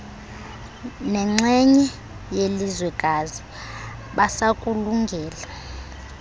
nenxenye yelizwekazi basakulungele